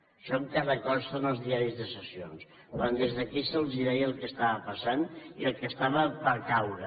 això encara consta en els diaris de sessions quan des d’aquí se’ls deia el que estava passant i el que estava per caure